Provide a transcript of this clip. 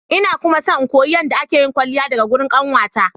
Ina kuma so in koyi yadda akeyin kwalliya daga gurin kanwata.